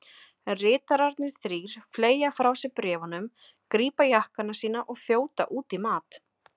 Ritararnir þrír fleygja frá sér bréfunum, grípa jakkana sína og þjóta út í mat.